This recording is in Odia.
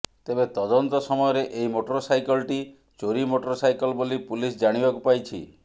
ତେବେ ତଦନ୍ତ ସମୟରେ ଏହି ମୋଟର ସାଇକଲଟି ଚୋରି ମୋଟର ସାଇକଲ ବୋଲି ପୁଲିସ ଜାଣିବାକୁ ପାଇଛି